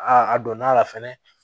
a donna la fɛnɛ